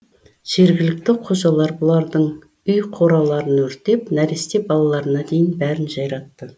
жергілікті қожалар бұлардың үй қораларын өртеп нәресте балаларына дейін бәрін жайратты